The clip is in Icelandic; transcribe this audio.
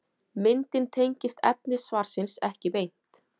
Myndin tengist efni svarsins ekki beint.